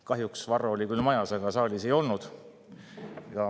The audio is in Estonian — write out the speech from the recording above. Kahjuks Varro, kes oli küll majas, saalis ei olnud.